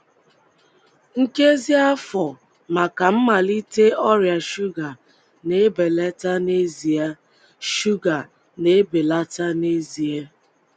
nkezi afọ maka mmalite ọrịa shuga na-ebelata n'ezie shuga na-ebelata n'ezie